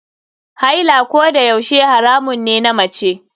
Haila kodayaushe haramun ne na mace.